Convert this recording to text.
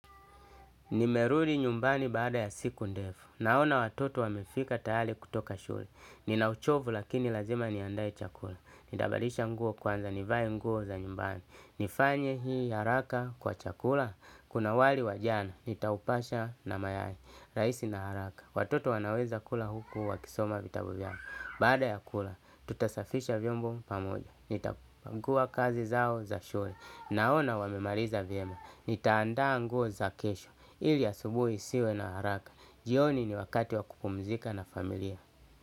Nimerudi nyumbani baada ya siku ndefu. Naona watoto wamefika tayali kutoka shule. Ninauchovu lakini lazima niandae chakula. Nitabadisha nguo kwanza nivae nguo za nyumbani. Nifanye hii haraka kwa chakula. Kuna wali wajana. Nitaupasha na mayai. Raisi na haraka. Watoto wanaweza kula huku wakisoma vitabu vyao. Baada ya kula, tutasafisha vyombo pamoja, nitapangua kazi zao za shule, naona wamemaliza vyema, nitaandaa nguo za kesho, ili asubuhi siwe na haraka, jioni ni wakati wa kupumzika na familia.